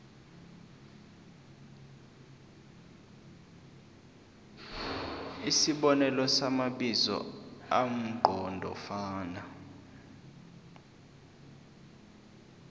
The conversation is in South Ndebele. isibonelo samabizo amqondofana